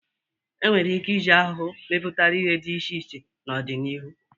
E nwere ike iji ahụhụ mepụta ihe dị iche iche n'ọdịnihu.